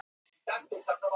Hvað átti hann við?